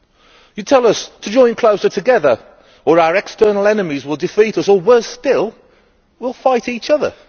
It tells us to join closer together or our external enemies will defeat us or, worse still, will fight each other.